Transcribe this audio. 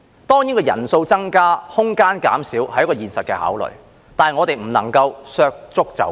當然，人數增加，空間減少，這是一個現實的考慮，但我們不能削足就履。